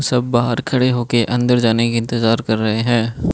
तब बाहर खड़े होके अंदर जाने के इंतजार कर रहें हैं।